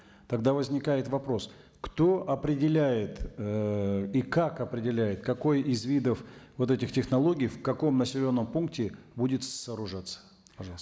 тогда возникает вопрос кто определяет ыыы и как определяет какой из видов вот этих технологий в каком населенном пункте будет сооружаться пожалуйста